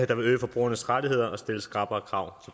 der vil øge forbrugernes rettigheder og stille skrappere krav